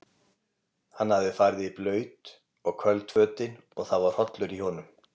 Hann hafði farið í blaut og köld fötin og það var hrollur í honum.